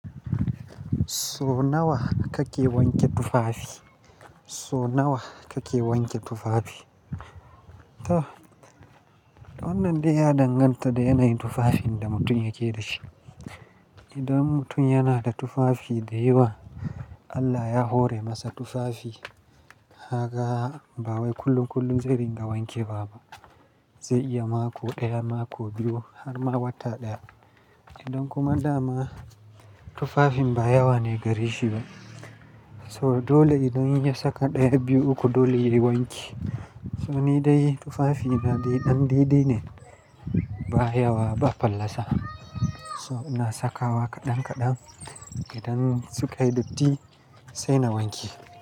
So nawa kake wanke tufafi? So nawa kake wanke tufafi? To wannan dai ya danganta da yanayin tufafin da mutum yake da shi. Idan mutum yana da tufafi da yawa, Allah ya hore masa tufafi, ka ga ba wai kullum kullum zai ringa wanke ba. Zai iya mako ɗaya, mako biyu har ma wata ɗaya. Idan kuma dama tufafin ba yawa ne gare shi ba. To dole idan ya saka ɗaya, biyu, uku dole yayi wanki. To ni dai tufafi na dai ɗan dai-dai ne, ba yawa ba fallasa. To ina saka wa kaɗan kaɗan idan suka yi datti sai na wanke.